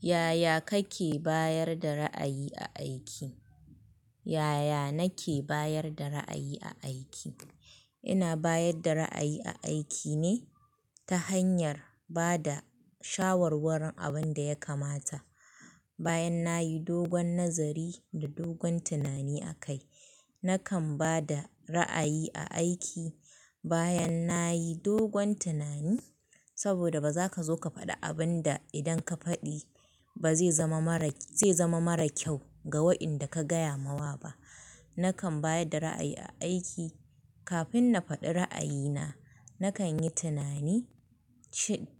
Yaya kake bayar da ra'ayi a aiki? Yaya nake bayar da ra'ayi a aiki? Ina bayar da ra'ayi a aiki ne ta hanyar ba da shawarwarin abin da ya kamata. Bayan na yi dogon nazari, da dogon tunani akai, nakan ba da ra'ayi a aiki bayan na yi dogon tunani, saboda ba za ka zo ka faɗi abin da, idan ka faɗi ba zai zama marak zai zama mara kyau, ga wa'inda ka gaya mawa ba. Nakan bayar da ra'ayi a aiki kafin na faɗi ra'ayina, nakan yi tunani